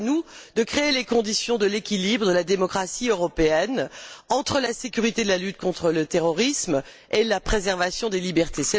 C'est à nous de créer les conditions de l'équilibre, de la démocratie européenne, entre la sécurité de la lutte contre le terrorisme et la préservation des libertés.